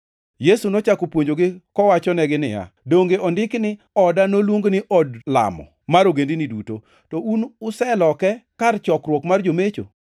Yesu nochako puonjogi kowachonegi niya, “Donge ondiki ni: ‘Oda noluongi ni od lamo mar ogendini duto’? + 11:17 \+xt Isa 56:7\+xt* To un useloke ‘kar chokruok mar jomecho.’ + 11:17 \+xt Jer 7:11\+xt* ”